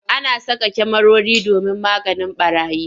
Ana saka kyamarori domin maganin ɓarayi.